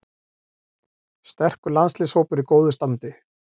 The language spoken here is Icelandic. Sterkur landsliðshópur í góðu standi